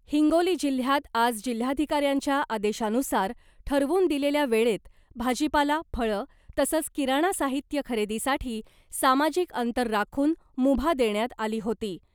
हिंगोली जिल्ह्यात आज जिल्हाधिकाऱ्यांच्या आदेशानुसार ठरवून दिलेल्या वेळेत भाजीपाला , फळं तसंच किराणा साहित्य खरेदीसाठी सामाजिक अंतर राखून मुभा देण्यात आली होती .